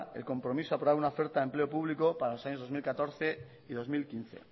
el compromiso a aprobar una oferta de empleo público para los años dos mil catorce y dos mil quince